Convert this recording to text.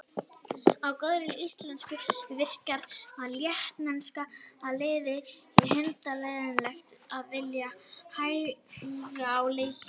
Á góðri íslensku virkar lettneska liði hundleiðinlegt og vill hægja á leiknum.